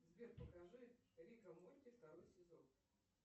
сбер покажи рик и морти второй сезон